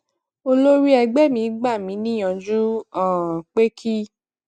olórí ẹgbé mi gbà mí níyànjú um pé kí